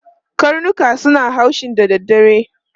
Karnuka suna haushi da dare.